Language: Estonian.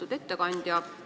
Lugupeetud ettekandja!